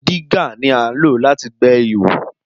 Dígà ni à ń lò láti gbẹ́ ihò.